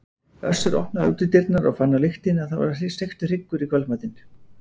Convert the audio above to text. Össur opnaði útidyrnar og fann á lyktinni að það var steiktur hryggur í kvöldmatinn.